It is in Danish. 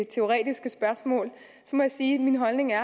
teoretiske spørgsmål så må jeg sige at min holdning er